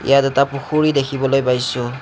ইয়াত এটা পুখুৰী দেখিবলৈ পাইছোঁ।